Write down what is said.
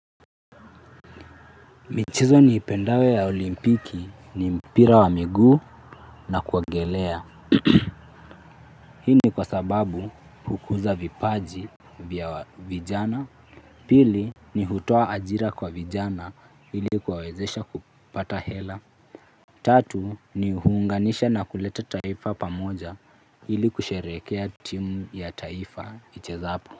Michezo niipendayo ya olimpiki ni mpira wa miguu na kuogelea. Hii ni kwa sababu hukuza vipaji vya vijana. Pili ni hutoa ajira kwa vijana hili kuwawezesha kupata hela. Tatu ni huunganisha na kuleta taifa pamoja ili kusherehekea timu ya taifa ichezapo.